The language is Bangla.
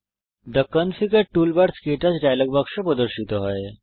থে কনফিগার টুলবার্স ক্টাচ ডায়ালগ বাক্স প্রদর্শিত হয়